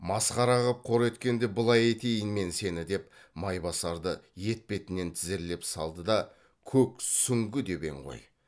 масқара қып қор еткенде былай етейін мен сені деп майбасарды етпетінен тізерлеп салды да көк сүңгі деп ең ғой